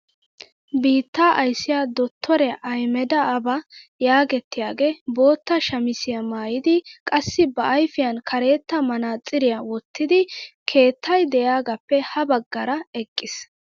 Biittaa ayssiyaa dottoriyaa ahiimeda aaba yagettiyaagee bootta shamisiyaa mayidi qassi ba ayfiyaan karetta manaatsiriyaa wottidi keettay de'iyaagappe ha baggaara eqqiis.